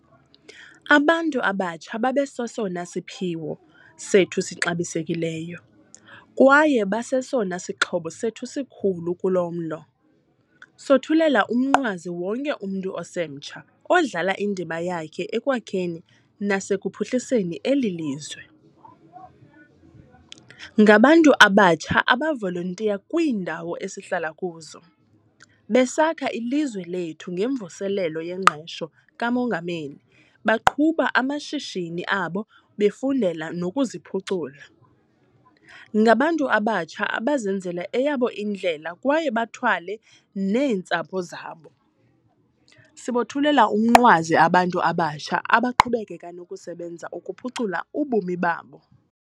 Abantu abatsha babesesona siphiwo sethu sixabisekileyo, kwaye basesona sixhobo sethu sikhulu kulo mlo. Sothulela umnqwazi wonke umntu osemtsha odlala indima yakhe ekwakheni nasekuphuhliseni eli lizwe. Ngabantu abatsha abavolontiya kwiindawo esihlala kuzo, besakha ilizwe lethu ngeMvuselelo yeNgqesho kaMongameli, beqhuba amashishini abo befundela nokuziphucula. Ngabantu abatsha abazenzela eyabo indlela kwaye bathwale neentsapho zabo. Sibothulela umnqwazi abantu abatsha abaqhubeka nokusebenza ukuphucula ubomi babo.